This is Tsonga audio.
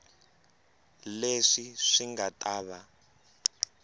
leswi swi nga ta va